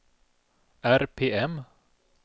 RPM